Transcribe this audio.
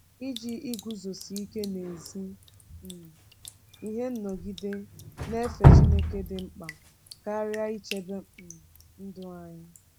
Iji iguzosi ike n’ezi um ihe nọgide na-efe Chineke dị mkpa karịa ichebe um ndụ anyị.